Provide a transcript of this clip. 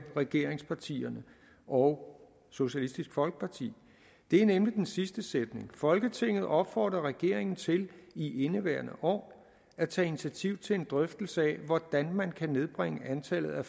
regeringspartierne og socialistisk folkeparti det er nemlig den sidste sætning folketinget opfordrer regeringen til i indeværende år at tage initiativ til en drøftelse af hvordan man kan nedbringe antallet af